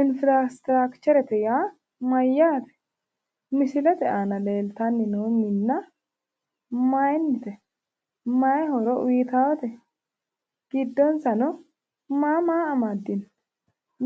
Infirastiraakcherete yaa mayyate? Misilete aana leeltanni noo minna mayinnite? Mayi horo uyitaawote? Gidsonsano maa maa amaddino?